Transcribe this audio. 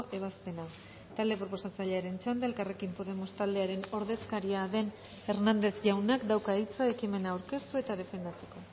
ebazpena talde proposatzailearen txanda elkarrekin podemos taldearen ordezkaria den hernández jaunak dauka hitza ekimena aurkeztu eta defendatzeko